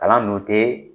Kalan dun tɛ